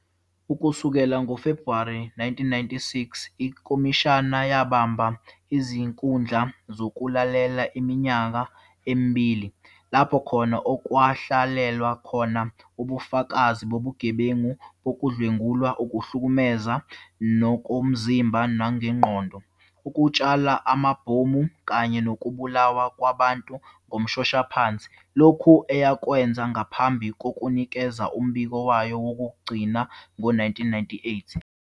Ukusukela ngoFebruwari 1996, ikhomishana yabamba izinkundla zokulalela iminyaka emibili, lapho khona okwalalelwa khona ubufakazi bobugebengu bokudlwengula, ukuhlukumeza ngokomzimba nengqondo, ukutshala amabhomu, kanye nokubulawa kwabantu ngomshoshaphansi, lokhu eyakwenza ngaphambi kokunikeza umbiko wayo wokugcina ngo 1998.